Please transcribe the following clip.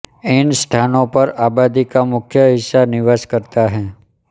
इन स्थानों पर आबादी का मुख्य हिस्सा निवास करता है